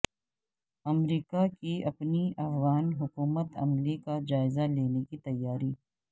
امریکا کی اپنی افغان حکمت عملی کا جائزہ لینے کی تیاری